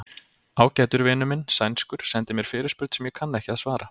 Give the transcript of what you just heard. Ágætur vinur minn, sænskur, sendi mér fyrirspurn sem ég kann ekki að svara.